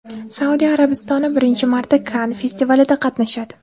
Saudiya Arabistoni birinchi marta Kann festivalida qatnashadi.